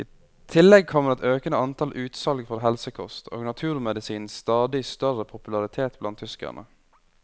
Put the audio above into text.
I tillegg kommer et økende antall utsalg for helsekost og naturmedisinens stadig større popularitet blant tyskerne.